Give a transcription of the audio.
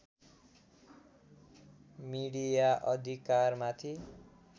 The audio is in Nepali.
मिडिया अधिकारमाथि